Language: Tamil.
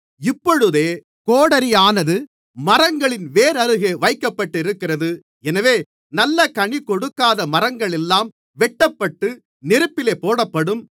இப்பொழுதே கோடரியானது மரங்களின் வேர் அருகே வைக்கப்பட்டிருக்கிறது எனவே நல்ல கனிகொடுக்காத மரங்களெல்லாம் வெட்டப்பட்டு நெருப்பிலே போடப்படும்